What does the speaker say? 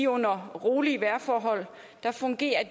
under rolige vejrforhold fungerer